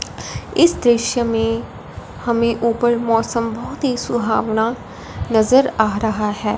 इस दृश्य में हमें ऊपर मौसम बहोत ही सुहावना नज़र आ रहा है।